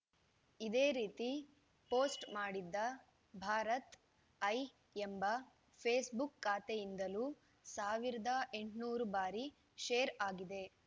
ಇದೇ ರೀತಿ ಪೋಸ್ಟ್‌ ಮಾಡಿದ್ದ ಭಾರತ್‌ ಐ ಎಂಬ ಫೇಸ್‌ಬುಕ್‌ ಖಾತೆಯಿಂದಲೂ ಸಾವಿರದ ಎಂಟುನೂರು ಬಾರಿ ಶೇರ್‌ ಆಗಿದೆ